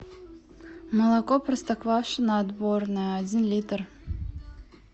молоко простоквашино отборное один литр